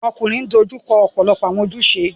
Ọmọkunrin n dojuko ọpọlọpọ awọn ojuse